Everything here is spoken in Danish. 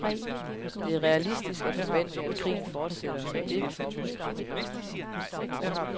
Det er realistisk at forvente, at krigen fortsætter, og det er vi forberedt på.